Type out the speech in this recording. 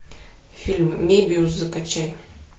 фильм мебиус закачай